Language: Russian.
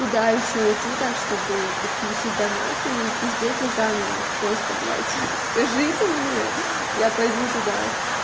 куда ещё идти так чтобы подключить донаты и пиздеть на камеру просто блять скажите мне я пойду туда